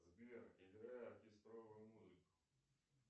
сбер играй оркестровую музыку